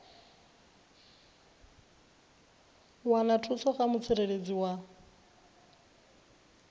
wana thuso kha mutsireledzi wa